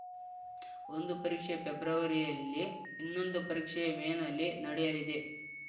ಒಂದು ಪರೀಕ್ಷೆ ಫೆಬ್ರವರಿಯಲ್ಲಿ ಇನ್ನೊಂದು ಪರೀಕ್ಷೆ ಮೇನಲ್ಲಿ ನಡೆಯಲಿದೆ